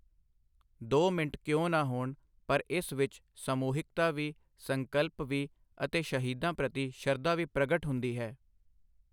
ਦੋ ਮਿੰਨਟ ਕਿਉਂ ਨਾ ਹੋਣ, ਪਰ ਇਸ ਵਿੱਚ ਸਮੂਹਿਕਤਾ ਵੀ, ਸਕੰਲਪ ਵੀ ਅਤੇ ਸ਼ਹੀਦਾਂ ਪ੍ਰਤੀ ਸ਼ਰਧਾ ਵੀ ਪ੍ਰਗਟ ਹੁੰਦੀ ਹੈ।